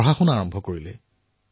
পঢ়া আৰম্ভ কৰিলে